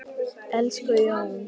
Elsku Jón.